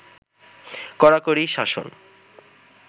কড়াকড়ি শাসন